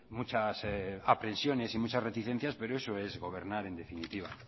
muchas aprensiones y muchas reticencias pero eso es gobernar en definitiva